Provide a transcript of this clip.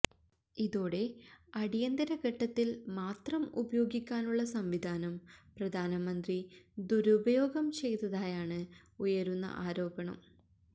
ഇതോടെ അടിയന്തര ഘട്ടത്തില് മാത്രം ഉപയോഗിക്കാനുള്ള സംവിധാനം പ്രധാനമന്ത്രി ദുരുപയോഗം ചെയ്തതായാണ് ഉയരുന്ന ആരോപണം